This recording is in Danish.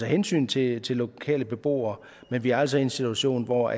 hensyn til de lokale beboere men vi er altså i en situation hvor